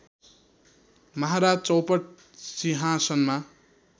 महाराज चौपट सिंहासनमा